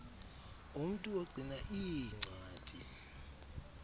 umntu ogcina iincwadi